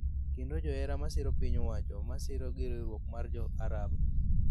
kendo johera ma siro piny owacho ma siro gi Riwruok mar Jo-Arab